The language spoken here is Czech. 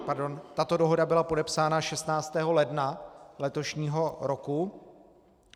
Tato dohoda byla podepsána 16. ledna letošního roku.